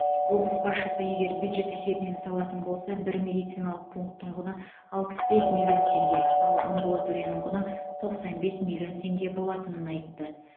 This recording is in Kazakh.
облыс басшысы егер бюджет есебінен салатын болса бір медициналық пунктің құны алпыс бес миллион теңге ал амбулаторияның құны тоқсан бес миллион теңге болатынын айтты